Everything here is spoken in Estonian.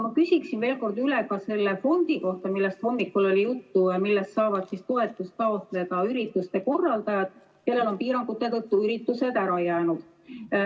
Ma küsin veel kord üle ka selle fondi kohta, millest hommikul oli juttu ja millest saavad toetust taotleda ürituste korraldajad, kellel on piirangute tõttu üritused ära jäänud.